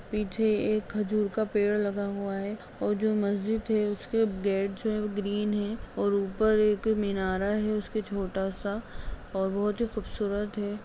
पीछे एक खजूर का पेड़ लगा हुआ है और जो मस्जिद है उसके गेट जो हैं वो ग्रीन हैं और ऊपर एक मिनारा है उसके छोटा सा और बहोत ही खूबसूरत है।